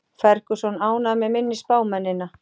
Ferguson ánægður með minni spámennina